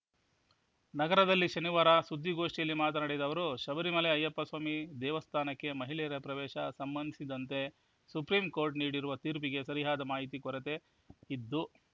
ನಗರದಲ್ಲಿ ಶನಿವಾರ ಸುದ್ದಿಗೋಷ್ಠಿಯಲ್ಲಿ ಮಾತನಾಡಿದ ಅವರು ಶಬರಿಮಲೈ ಅಯ್ಯಪ್ಪ ಸ್ವಾಮಿ ದೇವಸ್ಥಾನಕ್ಕೆ ಮಹಿಳೆಯರ ಪ್ರವೇಶ ಸಂಬಂಧಿಸಿದಂತೆ ಸುಪ್ರೀಂ ಕೋರ್ಟ್ ನೀಡಿರುವ ತೀರ್ಪಿಗೆ ಸರಿಯಾದ ಮಾಹಿತಿ ಕೊರತೆ ಇದ್ದು